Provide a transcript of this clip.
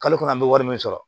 Kalo kɔnɔ an be wari min sɔrɔ